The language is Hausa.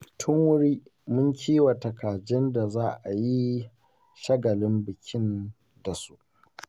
Tun wuri mun kiwata kajin da za a yi shaglin bikin da su.